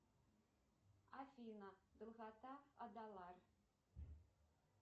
афина долгота адалар